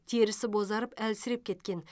терісі бозарып әлсіреп кеткен